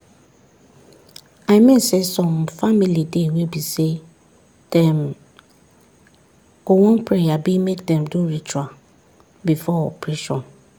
i mean saysome family dey wey be say dem go wan pray abi make dem do ritual before operation.